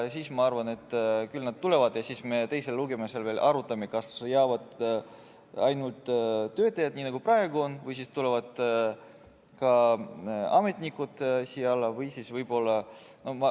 Ma arvan, et küll nad tulevad, ja siis me teisel lugemisel arutame, kas jäävad ainult töötajad, nii nagu praegu on, või tulevad ka ametnikud siia alla.